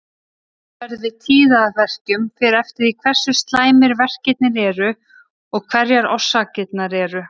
Meðferð við tíðaverkjum fer eftir því hversu slæmir verkirnir eru og hverjar orsakirnar eru.